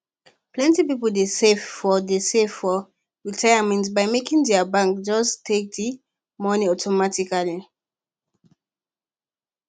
plenty people dey save for dey save for retirement by making their bank just take the money automatically